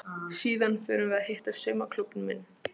Síðan förum við að hitta saumaklúbbinn minn.